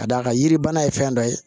Ka d'a kan yiribana ye fɛn dɔ ye